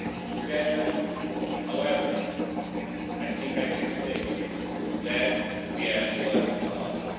Together, however, I think I can say today that we have learned a lot.